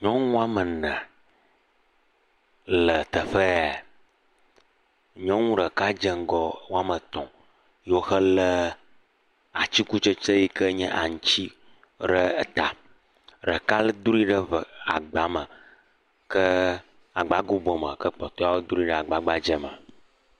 Nyɔnu woame ene le teƒe ya. Nyɔnu ɖeka dze ŋgɔ woame etɔ̃ ye wohelé atikutsetse yi ke nye aŋuti ɖe ta. Ɖeka dro ɖe agba me, agba gobo me ke kpɔtowo dro ɖe agba gbadzɛ me.